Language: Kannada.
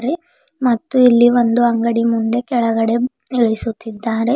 ಮತ್ತು ಇಲ್ಲಿ ಒಂದು ಅಂಗಡಿ ಮುಂದೆ ಕೆಳಗಡೆ ಇಳಿಸುತ್ತಿದ್ದಾರೆ.